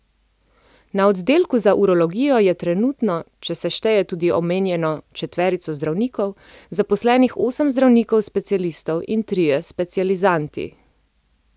Na oddelku za urologijo je trenutno, če se šteje tudi omenjeno četverico zdravnikov, zaposlenih osem zdravnikov specialistov in trije specializanti.